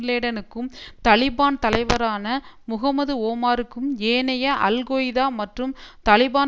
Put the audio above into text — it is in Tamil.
லேடனுக்கும் தலிபான் தலைவரான முகமது ஓமாருக்கும் ஏனைய அல் கொய்தா மற்றும் தலிபான்